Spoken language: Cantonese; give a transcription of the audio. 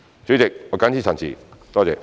主席，我謹此陳辭，多謝。